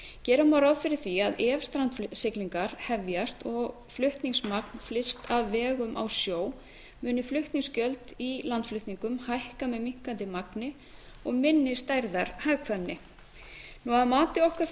gera má ráð fyrir að ef strandsiglingar hefjast og flutningsmagn flyst af vegum á sjó muni flutningsgjöld í landflutningum hækka með minnkandi magni og minni stærðarhagkvæmni að mati okkar